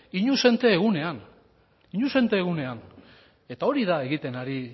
inuzente egunean inuzente egunean eta hori da egiten ari